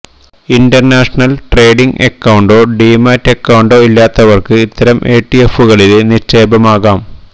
international trading അക്കൌണ്ടോ demat അക്കൌണ്ടോ ഇല്ലാത്തവര്ക്ക് ഇത്തരം ഇടിഎഫുകളില് നിക്ഷേപമാകാം